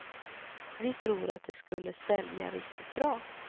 Vi tror att det skulle sälja riktigt bra.